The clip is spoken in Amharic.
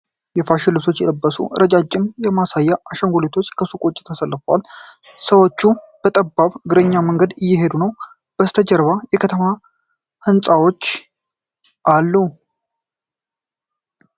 ፋሽን ልብሶች የለበሱ ረዣዥም የማሳያ አሻንጉሊቶች ከሱቅ ውጭ ተሰልፈዋል። ሰዎች በጠባብ የእግረኛ መንገድ እየሄዱ ነው። ከበስተጀርባው የከተማ ህንጻዎች አሉ ።